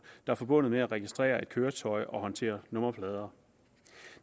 er forbundet med at registrere et køretøj og håndtere nummerplader